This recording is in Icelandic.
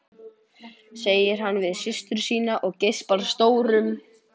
segir hann við systur sína og geispar stórum.